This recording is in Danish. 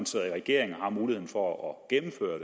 sidder i regering og har muligheden for at gennemføre